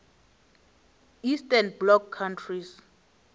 eastern bloc countries